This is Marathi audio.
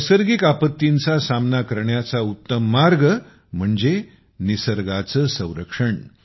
नैसर्गिक आपत्तींचा सामना करण्याचा उत्तम मार्ग म्हणजे निसर्गाचे संरक्षण